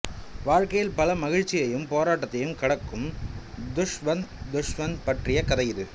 வாழ்க்கையில் பல மகிழ்ச்சியையும் போராட்டத்தையும் கடக்கும் தஷ்வந்த் தஷ்வந்த் பற்றிய கதை இது